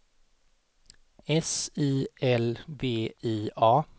S I L V I A